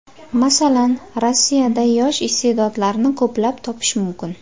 Masalan, Rossiyada yosh iste’dodlarni ko‘plab topish mumkin.